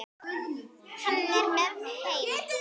Hann er með þeim.